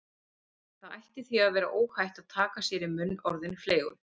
Það ætti því að vera óhætt að taka sér í munn orðin fleygu